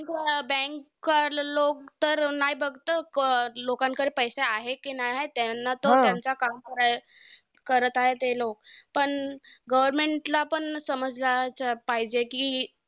Bank वाले लोकं तर नाय बघतं अं लोकांकडे पैसे आहे कि नाय आहे. त्यांना तर त्यांचं काम कराय करत आहे, ते लोकं. पण government ला पण समजायला पाहिजे कि,